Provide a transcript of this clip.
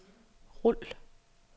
rul